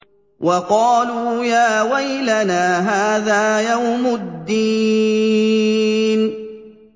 وَقَالُوا يَا وَيْلَنَا هَٰذَا يَوْمُ الدِّينِ